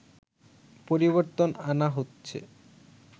পরিবর্তন আনা হচ্ছে